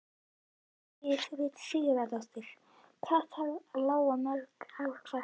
Hjördís Rut Sigurjónsdóttir: Hvað þarf að lóga mörgum ár hvert?